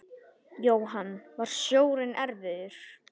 Jóhann: Var sjórinn erfiður?